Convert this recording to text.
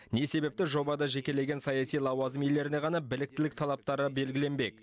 не себепті жобада жекелеген саяси лауазым иелеріне ғана біліктілік талаптары белгіленбек